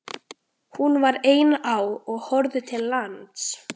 Hún var ein á og horfði til lands.